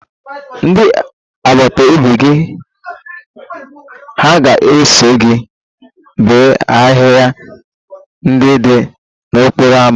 Ndị agbata obi gị hà ga-eso gị bee ahịhịa ndị dị n'okporo ámá?